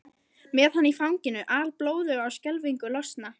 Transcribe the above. Með hana í fanginu, alblóðuga og skelfingu lostna.